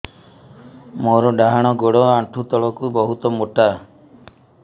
ମୋର ଡାହାଣ ଗୋଡ ଆଣ୍ଠୁ ତଳୁକୁ ବହୁତ ମୋଟା